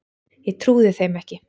Ég trúði þeim ekki.